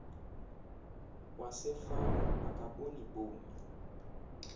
wasefama akaboni bomi